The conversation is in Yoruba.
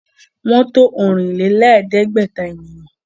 Wọ́n to ọ̀rìn-lé-lẹ̀ẹ́dẹ́gbẹ̀ta ènìyàn